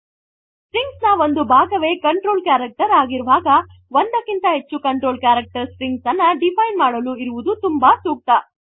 string ನ ಒಂದು ಭಾಗವೇ ಕಂಟ್ರೋಲ್ ಕ್ಯಾರೆಕ್ಟರ್ ಆಗಿರುವಾಗಒಂದಕ್ಕಿಂತ ಹೆಚ್ಚು ಕಂಟ್ರೋಲ್ ಕ್ಯಾರೆಕ್ಟರ್ ಸ್ಟ್ರಿಂಗ್ ಅನ್ನು ಡಿಫೈನ್ ಮಾಡಲು ಇರುವುದು ತುಂಬಾ ಸೂಕ್ತ